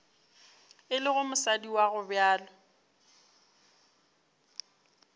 e lego mosadi wa gobjalo